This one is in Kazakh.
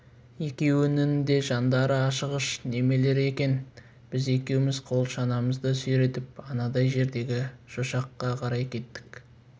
екеуінің де жандары ашығыш немелер екен біз екеуміз қол шанамызды сүйретіп анадай жердегі шошаққа қарай кеттік